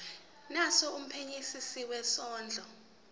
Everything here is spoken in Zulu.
naso kumphenyisisi wezondlo